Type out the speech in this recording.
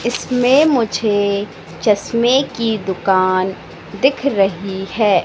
इसमें मुझे चश्मे की दुकान दिख रही है।